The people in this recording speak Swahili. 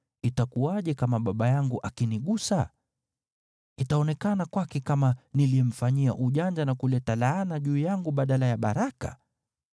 Itakuwaje kama baba yangu akinigusa? Itaonekana kwake kama niliyemfanyia ujanja na kuleta laana juu yangu badala ya baraka.”